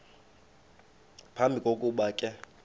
phambi kokuba ke